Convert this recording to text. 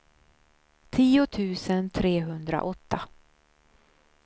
tio tusen trehundraåtta